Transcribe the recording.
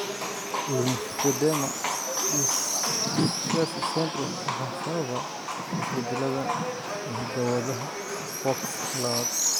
Lymphedema distichiasis syndrome waxaa sababa isbeddellada hidda-wadaha FOXC lawad.